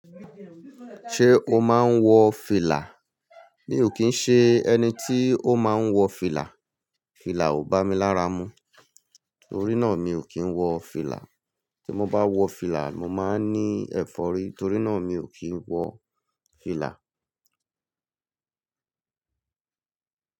Ṣé o máa ń wọ fìlà? Mi ò kí ń ṣe ẹni tí ó máa ń wọ fìlà. Fìlà ò bá mi lára mu, torí náà mi ò kí ń wọ fìlà. Tí mo bá wọ fìlà, mo máa ní ẹ̀fọ́rí, torí náà mi ò kí ń wọ fìlà.